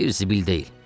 Bir zibil deyil.